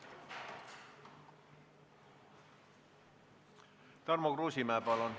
Tarmo Kruusimäe, palun!